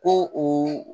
Ko u